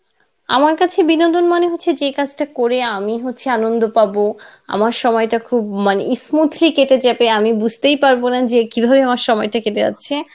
আমার কাছে বিনোদন মানে হচ্ছে যে কাজটা করে আমি হচ্ছে আনন্দ পাবো আমার সময়টা খুব মানে smoothly কেটে যাবে আমি বুঝতেই পারবনা যে কিভাবে আমার সময়টা কেটে যাচ্ছে,